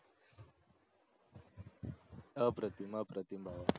अप्रतिम अप्रतिम भावा